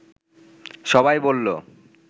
সবাই বললো